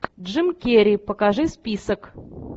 джим керри покажи список